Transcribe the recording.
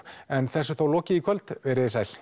en þessu er þá lokið í kvöld verið sæl